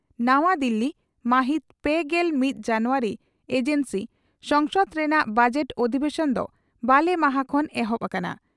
ᱱᱟᱣᱟ ᱫᱤᱞᱤ, ᱢᱟᱦᱤᱛ ᱯᱮᱜᱮᱞ ᱢᱤᱛ ᱡᱟᱱᱩᱣᱟᱨᱤ (ᱮᱡᱮᱱᱥᱤ) ᱺ ᱥᱚᱝᱥᱚᱫ ᱨᱮᱱᱟᱜ ᱵᱚᱡᱮᱴ ᱚᱫᱷᱤᱵᱮᱥᱚᱱ ᱫᱚ ᱵᱟᱞᱮ ᱢᱟᱦᱟᱸ ᱠᱷᱚᱱ ᱮᱦᱚᱵ ᱟᱠᱟᱱᱟ ᱾